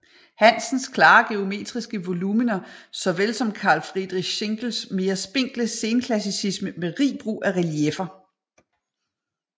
Hansens klare geometriske volumener såvel som Karl Friedrich Schinkels mere spinkle senklassicisme med rig brug af relieffer